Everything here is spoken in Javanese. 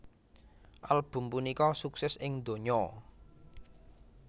Album punika sukses ing donya